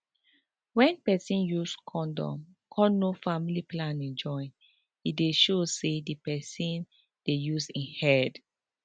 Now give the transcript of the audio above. wen peson use condom come know family planning join e dey show say di peson dey use im head